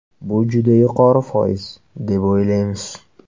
Bu juda yuqori foiz, deb o‘ylaymiz.